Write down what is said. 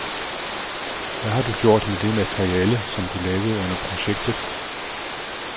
Hvad har du gjort med det materiale som du lavede under projektet?